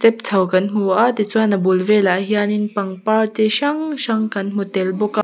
chho kan hmu a tichuan a bul velah hian in pangpar chi hrang hrang kan hmu tel bawk a--